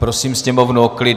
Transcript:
Prosím sněmovnu o klid.